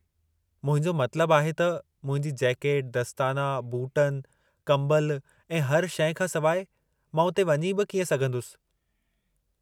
मुंहिंजो मतलबु आहे त, मुंहिंजी जेकट, दस्ताना, बूटनि, कम्बल ऐं हर शइ खां सवाइ, मां उते वञी बि कीअं सघन्दुसि?